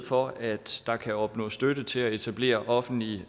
for at der kan opnås støtte til at etablere offentlige